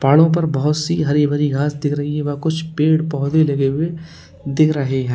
पहाड़ों पर बहुत सी हरी भरी घास दिख रही है वह कुछ पेड़ पौधे लगे हुए दिख रहे हैं।